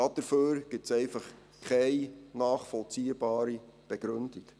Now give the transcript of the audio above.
Dafür gibt es einfach keine nachvollziehbare Begründung.